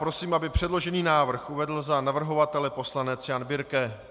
Prosím, aby předložený návrh uvedl za navrhovatele poslanec Jan Birke.